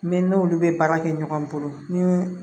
Ne n'olu bɛ baara kɛ ɲɔgɔn bolo ni